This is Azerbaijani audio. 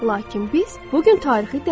Lakin biz bu gün tarixi dəyişə bilərik.